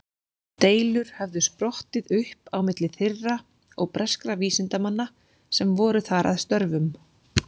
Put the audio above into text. Deilur höfðu sprottið upp á milli þeirra og breskra vísindamanna sem voru þar að störfum.